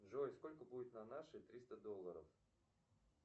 джой сколько будет на наши триста долларов